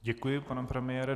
Děkuji, pane premiére.